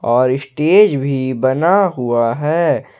और स्टेज भी बना हुआ है।